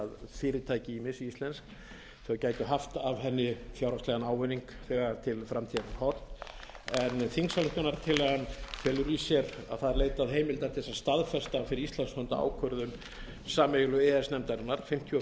tel að fyrirtæki misíslensk geti haft af henni fjárhagslegan ávinning þegar til framtíðar er horft en þingsályktunartillagan felur í sér að það er leitað heimilda til að staðfesta fyrir íslands hönd ákvörðun sameiginlegu e e s nefndarinnar númer fimmtíu og